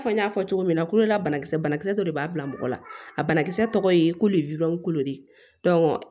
Fɔ n y'a fɔ cogo min na kolola banakisɛ banakisɛ dɔ de b'a bila mɔgɔ la a banakisɛ tɔgɔ ye ko le wide kolo de